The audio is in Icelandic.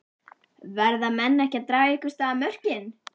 Verða menn ekki að draga einhvers staðar mörkin?